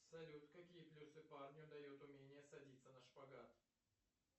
салют какие плюсы парню дает умение садиться на шпагат